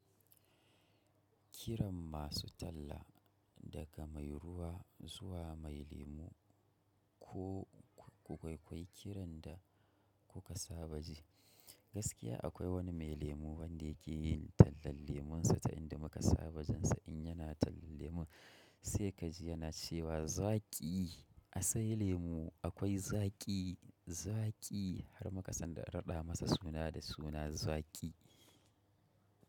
Kiran masu talla daga mai ruwa zuwa mai lemu ko ku kwaikwai kiran da kuka saba ji. Gaskiya akwai wani mai lemu wanda yake yin tallan lemunsa ta inda muka saba jin sa in yana tallan lemun sai ka ji yana cewa zaki asai lemu akwai zaki zaki har muka san da raɗa masa suna da suna zaki.